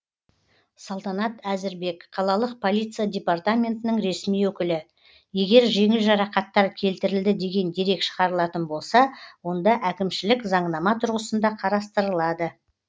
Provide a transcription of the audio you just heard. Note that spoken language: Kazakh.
салтанат әзірбек қалалық полиция департаментінің ресми өкілі егер жеңіл жарақаттар келтірілді деген дерек шығарылатын болса онда әкімшілік заңнама тұрғысында қарастырылады